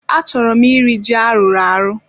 Achọrọ m iri ji a rụrụ arụ